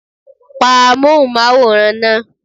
Pa Amóhùnmáwòrán náà!